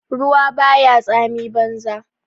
Ruwa ba ya tsami banza.